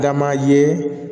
Dama ye